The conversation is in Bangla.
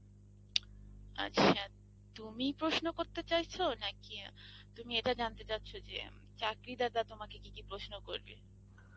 আচ্ছা তুমি প্রশ্ন করতে চাইছ না কি তুমি ইটা জানতে চাইছ যে চাকরি দাতা তোমাকে কি কি প্রশ্ন করবে